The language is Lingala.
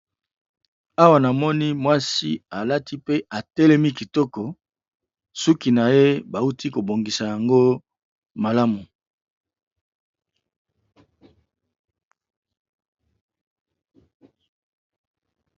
awa na moni mwasi alati pe atelemi kitoko suki na ye bauti kobongisa yango malamu